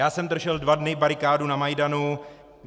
Já jsem držel dva dny barikádu na Majdanu.